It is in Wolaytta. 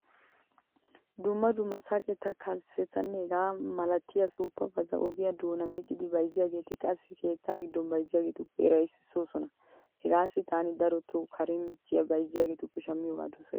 Dumma dumma saqeta, kalssetanne hegaa mala suuppabata ogiyaa doonan miccidi bayzziyaageeti qassi keetta giddon bayzziyaageetuppe hiraysissoosona. Hegaassi taani daroto karen micci bayzziyaageetuppe shammiyoogaa dosays.